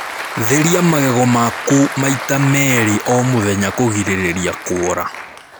Therĩa magego maku maĩ ta meri o mũthenya kũgirĩrĩrĩa kuora